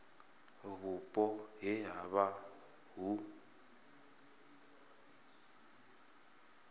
vhupo he ha vha hu